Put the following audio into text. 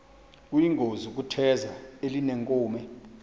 kuyingozi ukutheza elinenkume